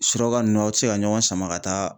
Suraka ninnu aw tɛ se ka ɲɔgɔn sama ka taa